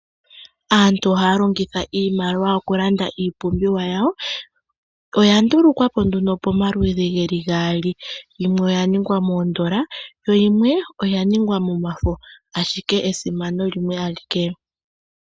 Aantu ohaya longitha iimaliwa oku landa iipumbiwa yawo. Oya ndulukwapo nduno pamaludhi geli gaali, yimwe oya ningwa moondola, yimwe oya ningwa momafo, ashike esimano limwe alike.